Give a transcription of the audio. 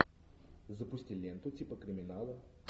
запусти ленту типа криминала